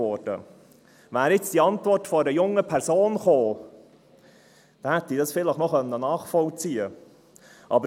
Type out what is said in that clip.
Wäre diese Antwort von einer jungen Person gekommen, hätte ich das vielleicht nachvollziehen können.